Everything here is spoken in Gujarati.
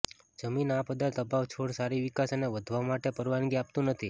જમીન આ પદાર્થ અભાવ છોડ સારી વિકાસ અને વધવા માટે પરવાનગી આપતું નથી